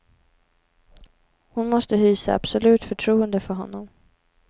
Hon måste hysa absolut förtroende för honom.